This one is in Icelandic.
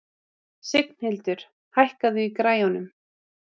Signhildur, hækkaðu í græjunum.